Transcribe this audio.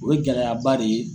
O ye gɛlɛyaba de ye.